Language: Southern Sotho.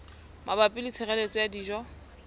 mabapi le tshireletso ya dijo